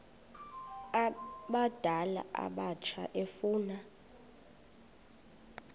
abadala abatsha efuna